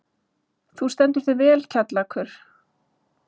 Þú stendur þig vel, Kjallakur!